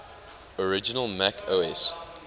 original mac os